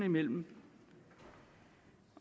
men